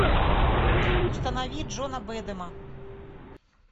установи джона бэдэма